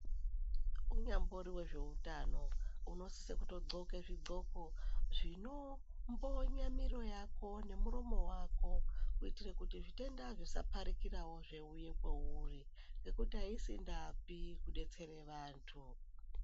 Unyambori vezveutano unosise kutodhloke zvidhloko zvino mboye miro yako nemuromo vako. Kuitire kuti zvitenda zvisaparikiravo zveiuya kwauri nekuti haisindaapi kubetsere vantu.